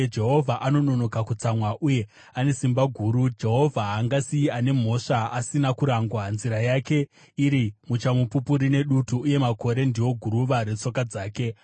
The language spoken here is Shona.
Jehovha anononoka kutsamwa uye ane simba guru; Jehovha haangasiye ane mhosva asina kurangwa. Nzira yake iri muchamupupuri nedutu, uye makore ndiwo guruva retsoka dzake.